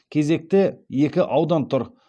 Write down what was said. кезекте екі аудан тұр